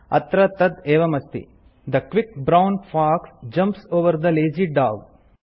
अत्र तत् एवमस्ति the quick brown fox jumps over the lazy dog